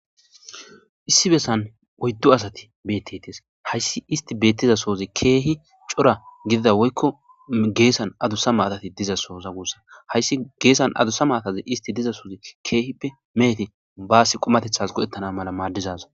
Issi bessan oyddu asati beettetees. hayssi isti beettiza sohoti keehi cora gidida woykko geessan adusa maatati diza soho gussa hayssi geessan adusa maataze isti diza soh keehippe mehete baasi qumatetas go'ettana mala maaddes.